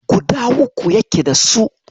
Guda uku yake dasu.